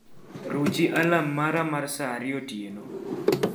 ruchi alarm mara mar saa ariyo otieno